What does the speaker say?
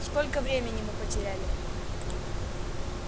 сколько времени мы потеряли